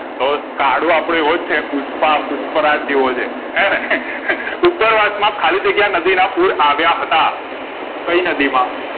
તો કાળુ આપડો આવોજ છે પુષ્પા પુષ્પરાજ જેવો છે હેને ઉપરવશ માં ખાલી જગ્યા નદીના પુર આવ્યા હતા કઈ નદીમાં